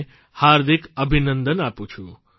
ને હાર્દિક અભિનંદન આપું છું